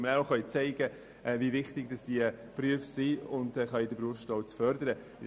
Dazu gehört auch, dass wir zeigen können, wie wichtig diese Berufe sind, und den Berufsstolz fördern können.